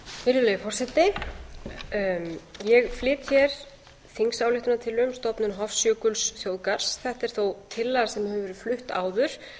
virðulegi forseti ég flyt hér þingsályktunartillögu um stofnun hofsjökulsþjóðgarðs þetta er þó tillaga sem hefur verið flutt áður bæði